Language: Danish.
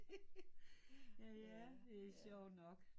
Ja det er sjovt nok